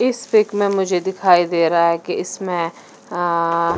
इस पिक में मुझे दिखाई दे रहा है कि इसमें आ आ--